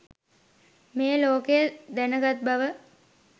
මේ ලෝකය දැනගත්බව